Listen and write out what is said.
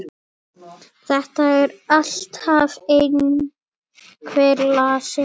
Það er alltaf einhver lasin.